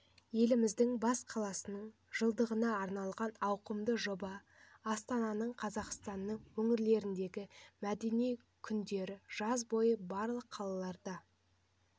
еліміздің бас қаласының жылдығына арналған ауқымды жоба астананың қазақстанның өңірлеріндегі мәдени күндері жаз бойы барлық қалаларда